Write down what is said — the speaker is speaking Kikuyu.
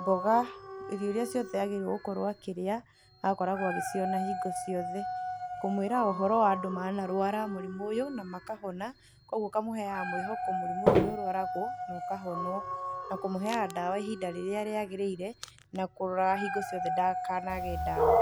mboga, irio iria ciothe agĩrĩiruo gũkorwo akĩrĩa agakoragwo agĩciona hĩngo ciothe. Kũmũĩra ũhoro wa andũ ma narwara mũrimũ ũyũ na makahona, koguo ũkamũheaga mwĩhoko mũrimũ ũyũ nĩ ũrwaragwo nokahonwo na kũmũheaga ndawa ihinda rĩrĩa rĩagĩrĩire na kũroraga hingo ciothe ndakanage ndawa.